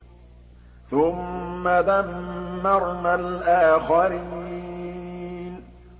ثُمَّ دَمَّرْنَا الْآخَرِينَ